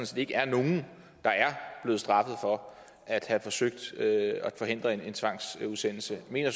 set ikke er nogen der er blevet straffet for at have forsøgt at forhindre en tvangsudsendelse mener